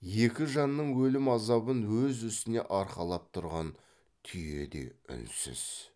екі жанның өлім азабын өз үстіне арқалап тұрған түйе де үнсіз